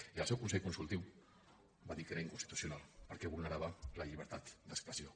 i el seu consell consultiu va dir que era inconstitucional perquè vulnerava la llibertat d’expressió